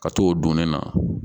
Ka t'o don ne na